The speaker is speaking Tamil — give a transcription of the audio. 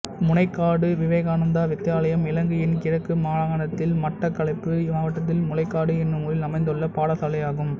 முனைக்காடு விவேகானந்தா வித்தியாலயம் இலங்கையின் கிழக்கு மாகாணத்தில் மட்டக்களப்பு மாவட்டத்தில் முனைக்காடு என்னும் ஊரில் அமைந்துள்ள பாடசாலை ஆகும்